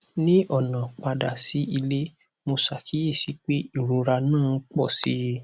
ní ọnà padà sí ilé mo ṣàkíyèsí pé ìrora náà ń pọ sí i